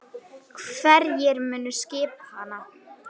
Hverjir munu skipa hana?